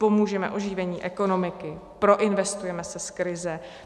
Pomůžeme oživení ekonomiky, proinvestujeme se z krize.